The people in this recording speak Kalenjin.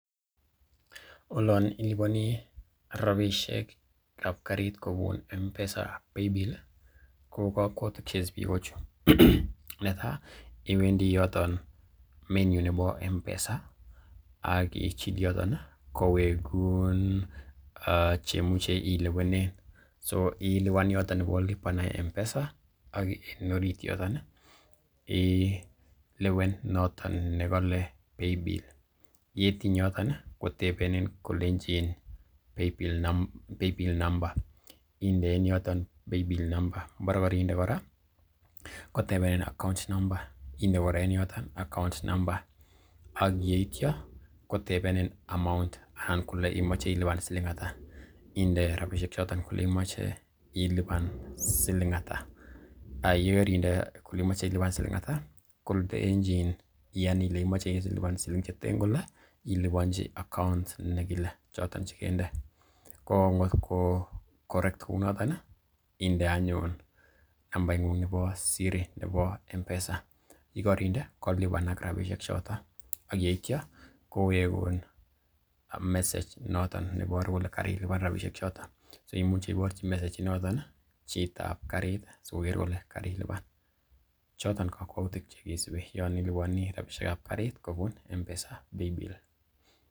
Olon iliponi rabishek ab karit kobun M-Pesa paybill ko kokwoutik che isubi ko chu: Netai iwendi yoton menu nebo M-Pesa ak ichil yoto kowegun che imuche ilewenen, so ilewen yoto nebo lipa na mpesa ak en orit yoton ilewene noton ne kole paybill yetiny yoton, kotebenin kolenchin paybill number inde en yoton paybill number ngo bore koinde kora, kotebenin account number inde kora en yoton account number ak yeityo kotebenin amount anan kole imoche ilipan siling ata inde rabishek choto kole imoche ilipan siling ata ak ye kerinde kole imoche ilipan siling ata kolenchin iyan ile imoche ilipan siling cheten kole iliponji account nekile choton che kende. Ko ngotko correct kounoton inde anyun nambaing'ung nebo siri nebo M-Pesa ye korinde kolipanak rabishek choto ak yeityo kowegun message noton neiboru kole karilipan rabishek choton, so imuche iborji message inoton chitab karit si koger kole karilipan. Choton ko kokwoutik che kisubi yon iliponi rabishek ab karit kobun M-Pesa paybill.